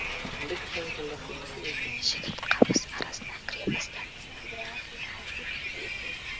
жігіт қамыс арасына кіре бастады